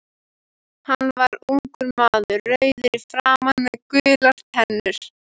Hann var ungur maður, rauður í framan með gular tennur.